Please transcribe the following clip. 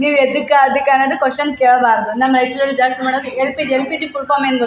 ನೀವ್ ಯದ್ದಕಾ ಅದಿಕ್ಕ ಅನ್ನದ್ ಕ್ವಶನ್ ಕೇಳ್ಬಾರ್ದ್ ನನ್ನ್ ಲೆವೆಲ್ ಜಾಸ್ತಿ ಮಾಡೋಕ್ ಎಲ್.ಪಿ. ಎಲ್.ಪಿ.ಜಿ. ಫುಲ್ ಫಾಮ್ ಏನ್ ಗೊ --